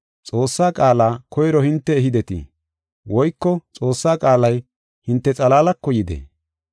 Xoossaa qaala koyro hinte ehidetii? Woyko Xoossaa qaalay hinte xalaalako yidee?